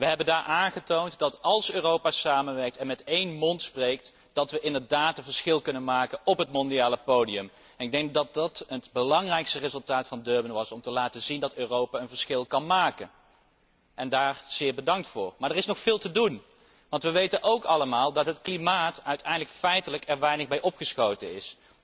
We hebben daar aangetoond dat we, als Europa samenwerkt en met één stem spreekt, inderdaad een verschil kunnen maken op het wereldpodium. Ik denk dat dit het belangrijkste resultaat van Durban was te laten zien dat Europa een verschil kan maken. Daarvoor heel erg bedankt. Maar er is nog veel te doen, want we weten ook allemaal dat het klimaat er uiteindelijk feitelijk weinig mee opgeschoten is.